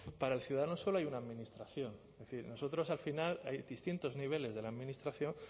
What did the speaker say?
para el ciudadano solo hay una administración es decir nosotros al final hay distintos niveles de la administración